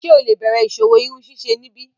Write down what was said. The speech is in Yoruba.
Ṣe o le bẹrẹ iṣowo irunsise nibi?